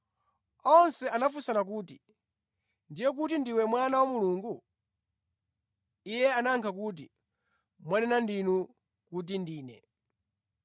Onse anafunsa kuti, “Ndiye kuti ndiwe Mwana wa Mulungu?” Iye anayankha kuti, “Mwanena ndinu kuti Ndine.”